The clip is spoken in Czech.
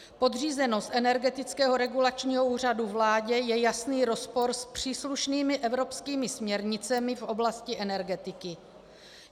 Podřízenost Energetického regulačního úřadu vládě je jasný rozpor s příslušnými evropskými směrnicemi v oblasti energetiky.